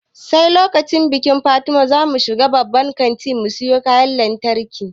Sai lokacin bikin fatima zamu shiga babban kanti mu siyo kayan lantarki